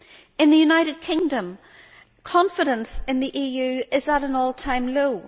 In the United Kingdom confidence in the EU is at an all time low.